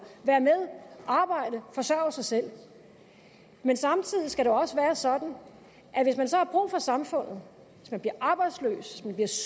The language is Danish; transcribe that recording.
være med arbejde forsørge sig selv men samtidig skal det også være sådan at hvis man så har brug for samfundet hvis man bliver arbejdsløs hvis